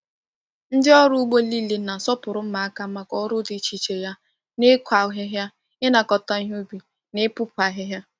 Ndị ọrụ ugbo niile na-asọpụrụ mma aka maka ọrụ dị iche iche ya n’ịkụ ahịhịa, ịnakọta ihe ubi, na ịpụpụ ahịhịa.